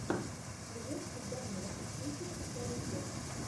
клиент всегда мертв тридцать шестая часть